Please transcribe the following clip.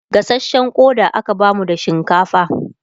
gasashen Koda aka bamu da shinkafa